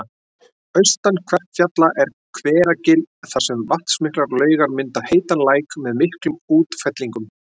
Austan Kverkfjalla er Hveragil þar sem vatnsmiklar laugar mynda heitan læk með miklum útfellingum